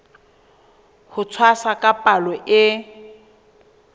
ho tshwasa ka palo e